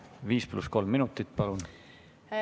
Viis pluss kolm minutit, palun!